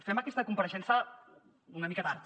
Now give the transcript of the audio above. fem aquesta compareixença una mica tard